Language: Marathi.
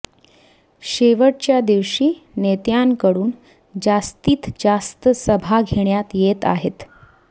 शेवटच्या दिवशी नेत्यांकडून जास्तीत जास्त सभा घेण्यात येत आहेत